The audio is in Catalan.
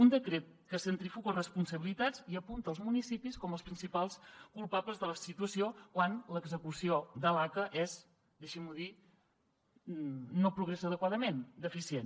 un decret que centrifuga responsabilitats i apunta als municipis com els principals culpables de la situació quan l’execució de l’aca és deixin m’ho dir no progressa adequadament deficient